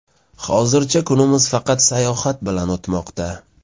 Hozircha kunimiz faqat sayohat bilan o‘tmoqda.